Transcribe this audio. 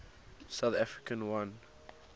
south africa won